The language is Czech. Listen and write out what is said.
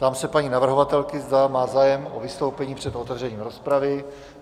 Ptám se paní navrhovatelky, zda má zájem o vystoupení před otevřením rozpravy.